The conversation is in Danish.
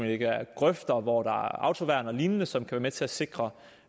ikke er grøfter og hvor der er autoværn og lignende som kan være med til at sikre